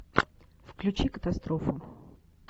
включи катастрофу